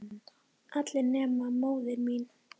Allir nema móðir mín.